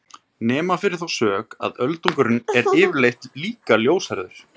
Nema fyrir þá sök að öldungurinn er yfirleitt líka ljóshærður!